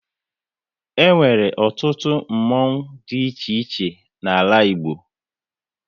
E nwere ọtụtụ mmonwu dị iche iche n'ala Igbo